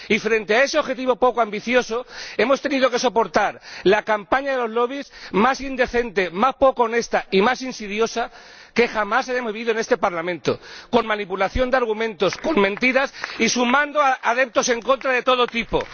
Y, frente a ese objetivo poco ambicioso, hemos tenido que soportar la campaña de los lobbies más indecente, más poco honesta y más insidiosa que jamás haya habido en este Parlamento, con manipulación de argumentos, con mentiras y sumando adeptos en contra de todo tipo.